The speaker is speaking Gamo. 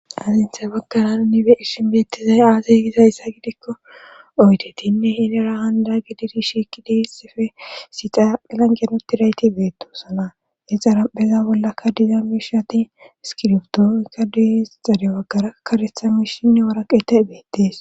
azinthay bagkarana ni be ishinbeettizay aasaygizayssa gidikko oytetinne hinira handa gididi shiiki deessife sixaaelanqenoti rayti beettosana exara pheza bollakka diza mishati iskirbdookka dis zade baggara karethamishinne waraqeta beettees